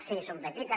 sí són petites